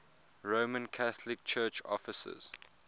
roman catholic church offices